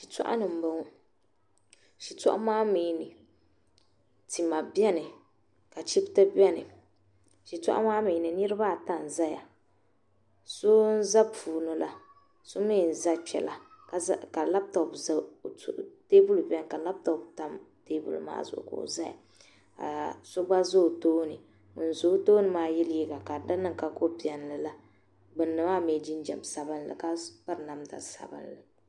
Shitɔɣuni m boŋɔ shitɔɣu maa mee tima biɛni ka chipti biɛni shitɔɣu maa mee ni niriba ata n zaya so n za puuni la so mee n za kpela teebuli n zaya ka laaputopu tam dizuɣu ka o zaya ka so gba za o tooni ŋun za o tooni maa liiga ka di niŋ ka kopiɛlli la gbini maa mee jinjiɛm sabinli ka piri namda sabinli.